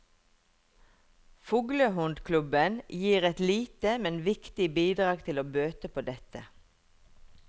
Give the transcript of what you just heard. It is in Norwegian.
Fuglehundklubben gir et lite, men viktig bidrag til å bøte på dette.